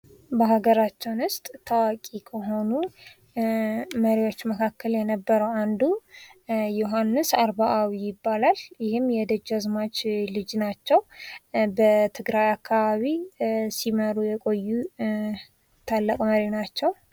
በሃገራችን ውስጥ ታዋቂ ከሆኑ መሪዎች መካከል የነበረው አንዱ ዮሃንስ አርባአዊ ይባላል። ይህም የደጅ አዝማች ልጅ ናቸው። በትግራይ አካባቢ ሲኖሩ የቆዩ ታላቅ መሪ ናቸው።